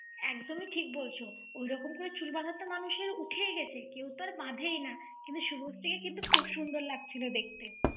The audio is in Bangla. একদমই ঠিক বলছো। ওই রকম করে চুল বাঁধা তো মানুষের উঠেই গেসে, কেও তো এখন বাধেই না। কিন্তু শুভশ্রী কিন্তু খুব সুন্দর লাগছিল দেখতে।